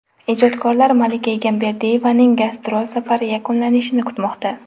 Ijodkorlar Malika Egamberdiyevaning gastrol safari yakunlanishini kutmoqda.